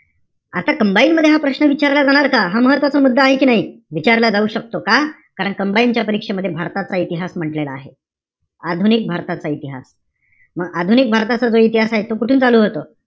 आता combined मध्ये हा प्रश्न विचारला जाणार का? हा महत्वाचा मुद्दा आहे कि नाई? विचारला जाऊ शकतो का? कारण combined च्या परीक्षेमध्ये भारताचा इतिहास म्हण्टलेला आहे. आधुनिक भारताचा इतिहास. मग आधुनिक भारताचा जर इतिहास आहे, त तो कुठून चालू होतो?